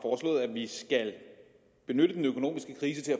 vi skal benytte den økonomiske krise til